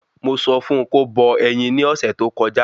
Mo sọ fún kó bọ ẹyin ni ọ̀sẹ̀ tó kọjá